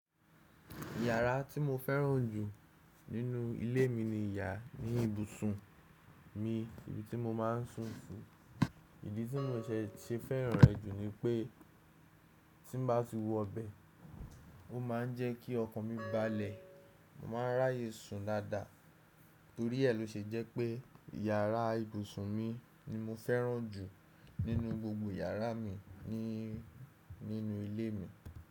Yàrá tí mo fẹ́ràn jù nínú ilé mi ni yàrá ibùsùn mi ibi tí mo máa ń sùn si. Ìdí tí mo se se fẹ́ràn rẹ̀ jù ni pé tí n bá ti wọ bẹ, ó máà ń jẹ́ kí ọkàn mi balẹ̀ mo máa ń ráyè sùn dáadáa. Torí ẹ ló ṣe jẹ́ pé yàrá ibùsùn mi ni mo fẹ́ràn jù nínú gbogbo yàrá mi nínú ilé mi.